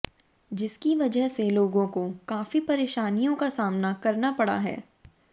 जिसकी वजह से लोगों को काफी परेशानियों का सामना करना पड़ रहा है